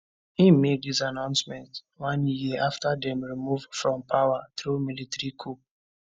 im make dis announcement one year afta dem remove from power through military coup